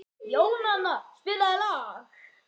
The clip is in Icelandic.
Jónanna, spilaðu lag.